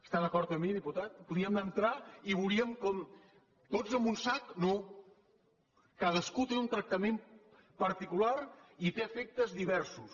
està d’acord amb mi diputat podíem entrar i veuríem com tots en un sac no cadascú té un tractament particular i té efectes diversos